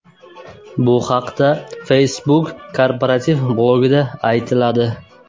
Bu haqda Facebook korporativ blogida aytiladi .